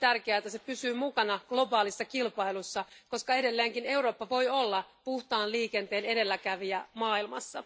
On hyvin tärkeää, että se pysyy mukana globaalissa kilpailussa, koska edelleenkin Eurooppa voi olla puhtaan liikenteen edelläkävijä maailmassa.